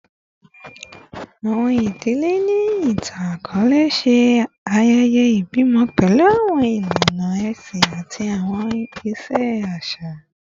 Awọn idile ni itan-akọọlẹ ṣe ayẹyẹ ibimọ pẹlu awọn ilana ẹsin ati awọn iṣe aṣa